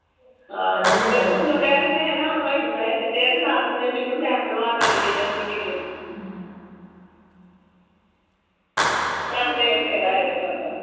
ਮੈਨੂੰ ਕੇ ਦੇਂਦੈ ਹਲਵਾਹੀ ਨੂੰ ਪਹਹੇ ਦੀਤੇ ਨਾ ਦੀਂਦੇ ਮੈਨੂੰ ਮ ਬਣਵਾ ਦੇਣੀ ਅਨੰਦੀ ਦੀ ਰੋਟੀ ਕਰਦੇ ਬਥੇਰਾ ਹੇਗਾ ਤੁਹਾੜਾ